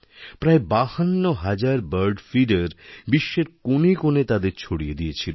প্রায় বাহান্ন হাজার বার্ড ফিডের বিশ্বের কোণে কোণে তাদের ছড়িয়ে দিয়েছিল